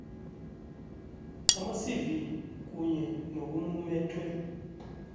amacv kunye nokumumethwe